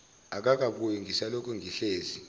akakabuyi ngisalokhu ngihlezi